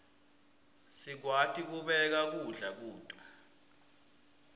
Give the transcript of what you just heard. sikwati kubeka kudla kuto